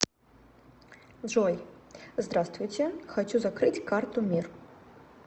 джой здравствуйте хочу закрыть карту мир